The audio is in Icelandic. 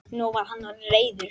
Nú var hann orðinn reiður.